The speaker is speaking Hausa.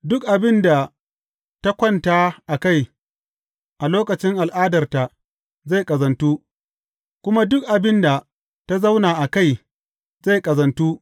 Duk abin da ta kwanta a kai a lokacin al’adarta zai ƙazantu, kuma duk abin da ta zauna a kai zai ƙazantu.